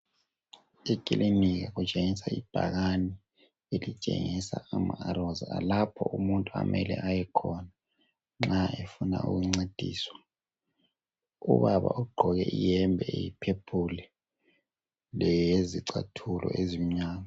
ikilinika kutshengisa ibhakani elitshengisa ama arrows lapho okumele ayekhona nxa efuna ukuncediswa ,ubaba ugqoke iyembe eyi phephuli lezicathulo ezimnyama